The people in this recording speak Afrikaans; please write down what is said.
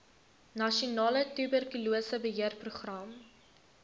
nasionale tuberkulose beheerprogram